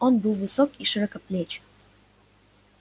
он был высок и широкоплеч